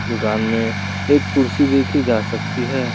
दुकान में एक कुर्सी देखी जा सकती है।